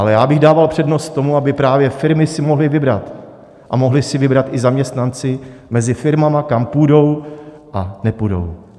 Ale já bych dával přednost tomu, aby právě firmy si mohly vybrat a mohli si vybrat i zaměstnanci mezi firmami, kam půjdou a nepůjdou.